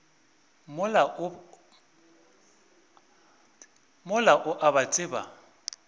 mola o a ba tseba